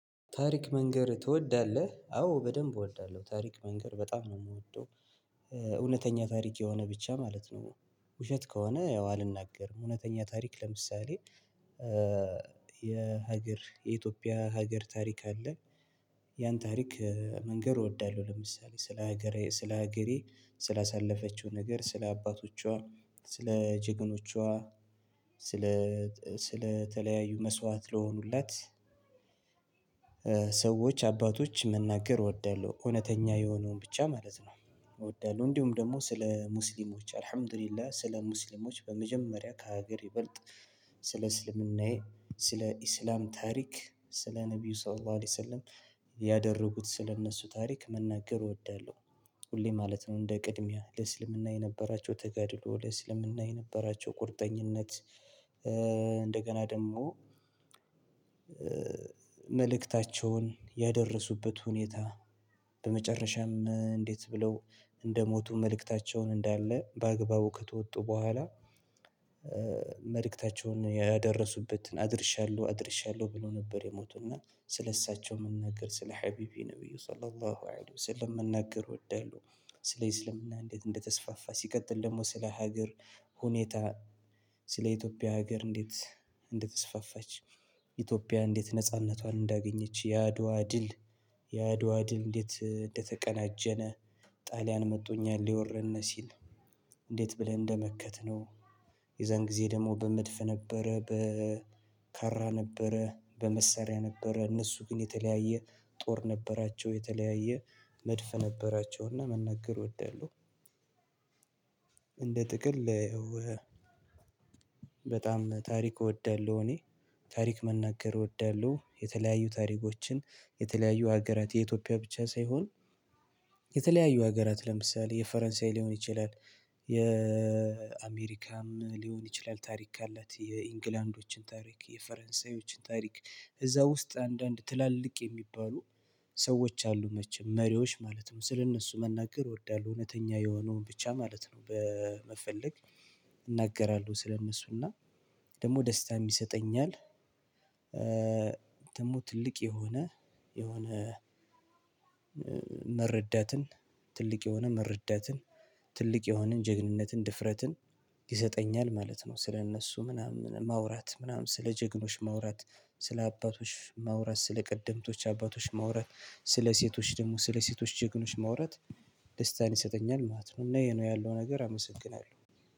ታሪክ መንገር ትወዳለህ? አዎ በደንብ እወልዳለሁ። ታሪክ መንገር በጣም ነው የምወደው። እውነተኛ ታሪክ የሆነ ብቻ ማለት ነው። ውሸት ከሆነ ያው አልናገርም። እውነተኛ ታሪክ ለምሳሌ የሀገር የኢትዮጵያ ሀገር ታሪክ አለ ያን ታሪክ መንገድ እወዳለሁ ለምሳሌ ስለ ሀገሬ ስለ ሀገሬ ስለ አሳለፈችው ነገር፣ ስለ አባቶቿ፣ ስለ ጀግኖቿ ስለ ስለተለያዩ መስዋዕት ለሆኑለት፣ ሰዎች አባቶች መናገር እወዳለሁ። እውነተኛ የሆነውን ብቻ ማለት ነው እወዳለሁ እንዲሁም ደግሞ ስለ ሙስሊሞች አልሀምዱሊላ ስለ ሙስሊሞች በመጀመሪያ ከሀገር ይበልጥ ስለ እስልምናዬ፣ ስለ እስልምና ታሪክ፣ ስለ ነብዩ ሰርባ አለይሰለም ያደረጉት ስለእነሱ ታሪክ መናገር እወዳለሁ ሁሌ ማለት ነው። እንደ ቅድሚያ ለእስልምና የነበራቸው ተገድሎ፣ ለእስልምና የነበራቸው ቁርጠኝነት፣ እንደገና ደግሞ መልእክታቸውን ያደረሱበት ሁኔታ በመጨረሻም እንዴት ብለው እንደሞቱ መልእክታቸውን እንዳለ በአግባቡ ከተወጡ በኋላ መልእክታቸውን ያደረሱበትን አድርሻለሁ አድርሻለሁ ብሎ ነበር የሞቱና ስለእሳቸው መናገር፣ ስለ ሀቢቢ ነብዩ ሰለሉም ወአዱ ሰለም መናገር እወዳለሁ። እንዴት እንደተስፋፋ፣ ሲቀጥል ደግሞ ስለ ሀገር ሁኔታ፣ ስለ ኢትዮጵያ ሀገር እንዴት እንደተስፋፋች ኢትዮጵያ እንዴት ነጻነቷን እንዳገኘች፣ ያድዋ ድል ያድዋ ድል እንዴት እንደተቀናጀነ፣ ጣልያን መቶ እኛን ሊወረን ሲል እንዴት ብለን እንደመከትነው፣ የዛን ጊዜ ደግሞ በመድፍ ነበረ በ ካራ ነበረ፣ በመሳሪያ ነበረ፣ እነሱ ግን የተለያየ ጦር ነበራቸው የተለያየ መድፍ ነበራቸውና መናገር እወዳለሁ። እንደ ጥቅል በጣም ታሪክ እወዳለሁ እኔ። ታሪክ መናገር እወዳለሁ። የተለያዩ ታሪኮችን የተለያዩ ሀገራት የኢትዮጵያ ብቻ ሳይሆን የተለያዩ ሀገራት ለምሳሌ የፈረንሳይ ሊሆን ይችላል፣ የአሜሪካም ሊሆን ይችላል፣ ታሪክ ካላት የእንግላንዶችን ታሪክ፣ የፈረንሳዮችን ታሪክ፣ እዛ ውስጥ አንዳንድ ትላልቅ የሚባሉ ሰዎች አሉ መቼም መሪዎች ማለት ነው። ስለእነሱ መናገር እወዳለሁ። እውነተኛ የሆነውን ብቻ ማለት ነው በመፈለግ እናገራለሁ። ስለእነሱ ደግሞ ደስታ የሚሰጠኛል ደግሞ ትልቅ የሆነ የሆነ መረዳትን ትልቅ የሆነ መረዳትን፣ ትልቅ የሆነን ጀግንነትን፣ ድፍረትን፣ ይሰጠኛል ማለት ነው። ስለእነሱ ምናምን ማውራት ምናምን ስለ ጀግኖች ማውራት፣ ስለ አባቶች መውራት፣ ስለ ቀደምቶች አባቶች መውራት፣ ስለ ሴቶች ደግሞ ስለ ሴቶች ጀግኖች መውራት፣ ደስታን ይሰጠኛል ማለት ነው። እና ይሄ ነው ያለው ነገር አመሰግናለሁ።